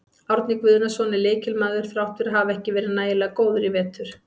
Árni Guðnason er lykilmaður þrátt fyrir að hafa ekki verið nægilega góður í vetur.